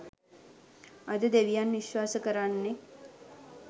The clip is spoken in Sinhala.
අද දෙවියන් විශ්වාස කරන්නෙක්